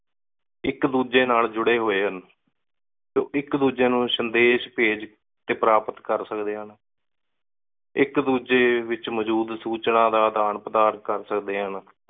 ਇਕ ਦੂਜੇ ਨਾਲ ਜੁੜੇ ਹੋਏ ਹਨ ਤੇ ਇਕ ਦੂਜੇ ਨੁ ਉ ਸੰਦੇਸ਼ ਭੇਜ ਤੇ ਪ੍ਰਾਪਤ ਕਰ ਸਕਦੇ ਹਨ। ਇਕ ਦੂਜੇ ਵਿਚ ਮੌਜੂਦ ਸੂਚਨਾ ਦਾ ਆਦਾਨ ਪ੍ਰਦਾਨ ਕਰ ਸਕਦੇ ਹਨ।